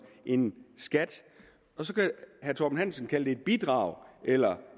en skat så kan herre torben hansen kalde det et bidrag eller